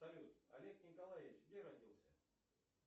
салют олег николаевич где родился